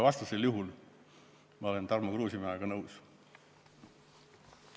Vastasel juhul olen ma Tarmo Kruusimäega nõus.